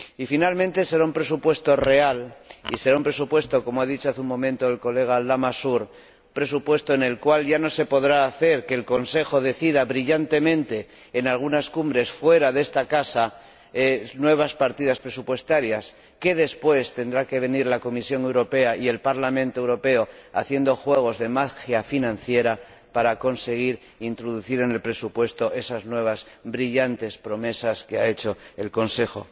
Por último, será un presupuesto real y será un presupuesto como ha dicho hace un momento el colega Lamassoure en el cual ya no se podrá hacer que el Consejo decida brillantemente en algunas cumbres fuera de esta Casa nuevas partidas presupuestarias, tras lo cual tendrán que venir la Comisión Europea y el Parlamento Europeo haciendo juegos de magia financiera para conseguir introducir en el presupuesto esas nuevas y brillantes promesas que ha hecho el Consejo.